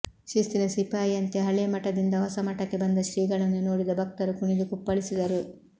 ಶಿಸ್ತಿನ ಸಿಪಾಯಿಯಂತೆ ಹಳೇ ಮಠದಿಂದ ಹೊಸ ಮಠಕ್ಕೆ ಬಂದ ಶ್ರೀಗಳನ್ನು ನೋಡಿದ ಭಕ್ತರು ಕುಣಿದು ಕುಪ್ಪಳಿಸಿದರು